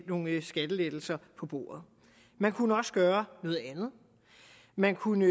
nogle skattelettelser på bordet man kunne også gøre noget andet man kunne